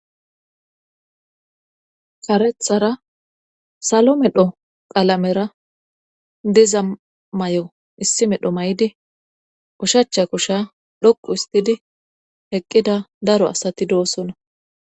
karethara salo medho qalamera diza mayo issi medho maydi ushacha kusha dhoqu histidi eqqida daro asati doosona